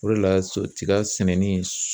O de la so tiga sɛnɛni